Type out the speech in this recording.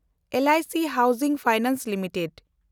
L I C housing finance limited